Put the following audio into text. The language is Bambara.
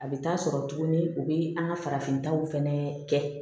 A bɛ taa sɔrɔ tuguni u bɛ an ka farafintaw fɛnɛ kɛ